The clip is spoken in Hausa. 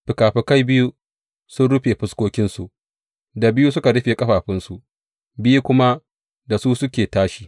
Fikafikai biyu sun rufe fuskokinsu, da biyu suka rufe ƙafafunsu, biyu kuma da su suke tashi.